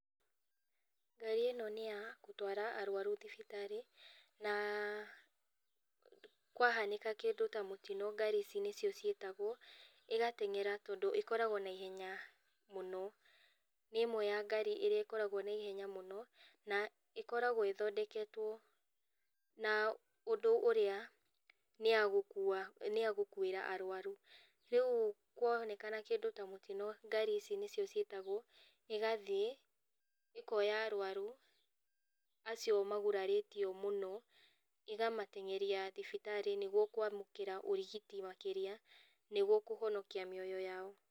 Ngari ĩno nĩya gũtwara arwaru thibitarĩ na kwahanĩka kĩndũ ta mũtino ngari ici nĩcio ciĩtagwo, igateng'era tondũ ĩkoragwo na ihenya mũno. Nĩ ĩmwe ya ngari ĩrĩa ĩkoragwo na ihenya mũno, na ĩkoragwo ĩthondeketwo na ũndũ ũrĩa nĩyagũkua, nĩyagũkuĩra arwaru. Rĩu kũonekana kĩndũ ta mũtino ngari ici nĩcio ciĩtagwo, igathiĩ ikoya arwaru acio magurarĩtio mũno, ĩgamateng'eria thibitarĩ nigwo kwamũkĩra ũrigiti makĩria, nĩgwo kũhonokia mĩoyo yao.